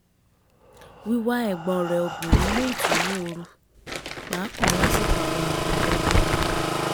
wíwá ẹ̀gbọ́n rẹ̀ obìnrin mú ìtùnú oru pàápàá lásìkò àwọn ápèjọ ọdún